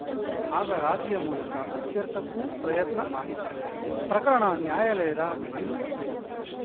ಆಗ ರಾಜಿಯ ಮೂಲಕ ಇತ್ಯರ್ಥಕ್ಕೂ ಪ್ರಯತ್ನ ಆಗಿತ್ತು ಪ್ರಕರಣ ನ್ಯಾಯಾಲಯದ ಮೆಟ್ಟಿಲು ಏರಿತ್ತು